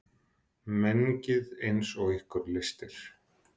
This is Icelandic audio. Mengið eins og ykkur lystir.